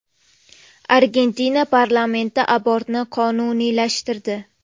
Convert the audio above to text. Argentina parlamenti abortni qonuniylashtirdi.